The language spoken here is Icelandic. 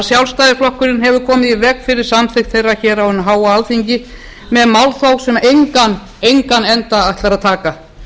sjálfstæðisflokkurinn hefur komið í veg fyrir samþykkt þeirra á hinu háa alþingi með málþófi sem engan enda ætlar að taka